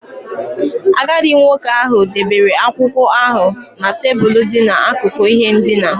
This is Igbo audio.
Agadi nwoke ahụ debere akwụkwọ ahụ na tebụl dị n'akụkụ ihe ndina.